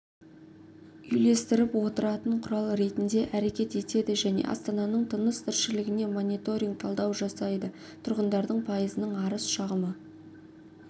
үйлестіріп отыратын құрал ретінде әрекет етеді және астананың тыныс-тіршілігіне мониторинг талдау жасайды тұрғындардың пайызының арыз-шағымы